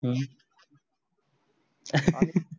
हु